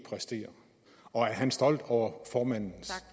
præsterer og er han stolt over formandens